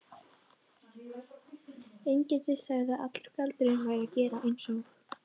Engillinn sagði að allur galdurinn væri að gera eins og